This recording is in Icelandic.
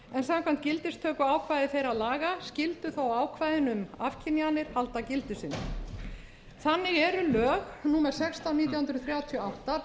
samkvæmt gildistökuákvæði þeirra laga skyldu þó ákvæðin um afkynjanir halda gildi sínu þannig eru lög númer sextán nítján hundruð þrjátíu og átta